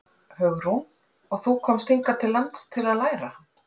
Hugrún: Og þú komst hingað til lands til að læra?